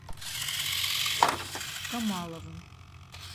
камаловым